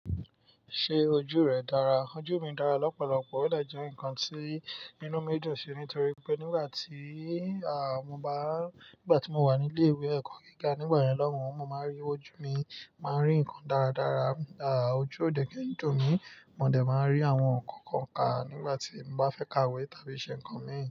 Ṣé ojú rẹ dára? Ojú mi dára lọ́pọ̀lọpọ̀, ó de je nǹkan tí inú mi dùn sí nítorí pé nígbà tí, à, mo bá, nígbà tí mo wà ní ilé ìwé ẹ̀kọ́ gíga nígbà yen lọ́hùn, mo máa ń rí ojú mi, màá ń rí ǹkan dáradára. À, ojú ò dẹ̀ ki n dùn mí, mò dẹ̀ máa ń rí àwọn ǹkan kọ̀ọ̀kan ká nígbà tí mo bá fẹ́ ka ìwé tàbí ṣe nǹkan mi.